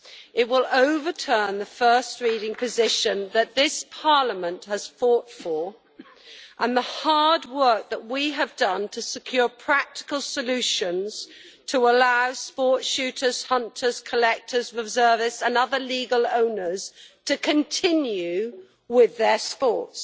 It will overturn the first reading position that this Parliament has fought for, and the hard work that we have done to secure practical solutions to allow sport shooters, hunters, collectors, reservists and other legal owners to continue with their sports.